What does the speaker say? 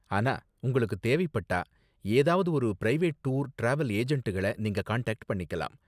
ஆனா, உங்களுக்கு தேவைப்பட்டா ஏதாவது ஒரு பிரைவேட் டூர், டிராவல் ஏஜெண்டுகள நீங்க காண்டாக்ட் பண்ணிக்கலாம்.